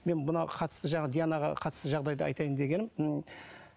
мен мына қатысты жаңағы дианаға қатысты жағдайды айтайын дегенім ы